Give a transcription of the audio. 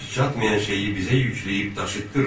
Gücümüz çatmayan şeyi bizə yükləyib daşıtdırma.